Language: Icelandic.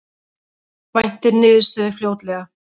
Væntir niðurstöðu fljótlega